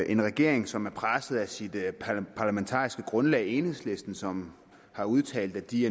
en regering som er presset af sit parlamentariske grundlag enhedslisten som har udtalt at de